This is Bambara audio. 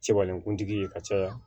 Sebalen kuntigi ye ka caya